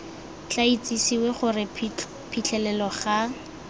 tla itsisiwe gore phitlhelelo ga